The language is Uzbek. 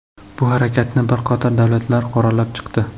Bu harakatni bir qator davlatlar qoralab chiqdi.